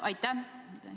Aitäh!